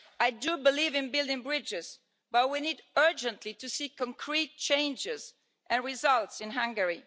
I believe in building bridges, but we urgently need to see concrete changes and results in Hungary.